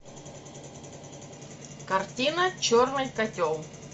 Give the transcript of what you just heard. картина черный котел